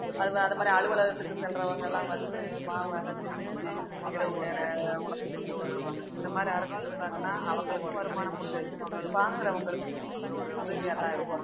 அதுல அந்தமாரி அலுவலகத்துக்கு செல்றவங்க எல்லாம் வந்து மாவ அரைச்சு செஞ்சு இரவு நேர உணவுக்கு கஷ்டப்படுவாங்க இந்த மாதிரி அரைச்சு கொடுத்தாங்கன்னா அவங்களுக்கும் வருமானம் உண்டு வாங்குறவங்களுக்கும் உதவியாத்தான் இருக்கும்